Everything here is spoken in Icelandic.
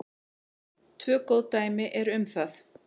Tvö góð dæmi eru um það.